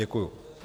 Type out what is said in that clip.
Děkuji.